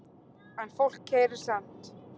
En fólk keyrir samt